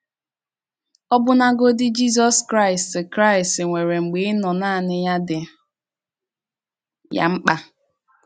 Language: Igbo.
Ọbụnagọdị̀ Jizọs Kraịst Kraịst nwere mgbe ịnọ̀ nanị́ ya dị́ ya mkpa.